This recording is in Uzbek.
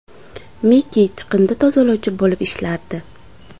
Miki chiqindi tozalovchi bo‘lib ishlardi.